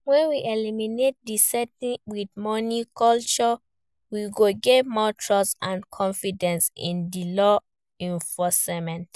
when we eliminate di settle with money culture, we go get more trust and confidence in di law enforcement.